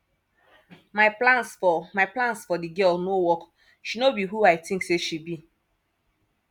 my plans for my plans for the girl no work she no be who i think say she be